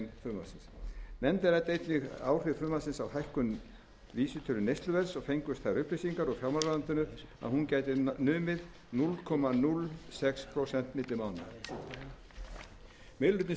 nefndin ræddi einnig áhrif frumvarpsins á hækkun vísitölu neysluverðs og fengust þær upplýsingar úr fjármálaráðuneytinu að hún gæti numið núll komma núll sex prósent milli mánaða meiri hlutinn styður frumvarpið í ljósi erfiðrar stöðu ríkissjóðs